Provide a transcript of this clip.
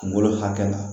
Kungolo hakɛ la